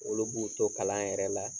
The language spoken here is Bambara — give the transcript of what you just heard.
Olu b'u to kalan yɛrɛ la